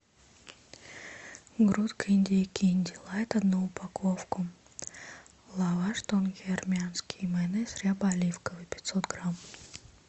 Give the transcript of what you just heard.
грудка индейки инди лайт одну упаковку лаваш тонкий армянский майонез ряба оливковый пятьсот грамм